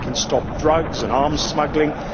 how we can stop drugs and arms smuggling